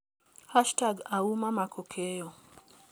#Auma Mckakeyo.